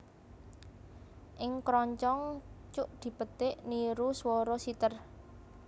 Ing kroncong cuk dipetik niru swara siter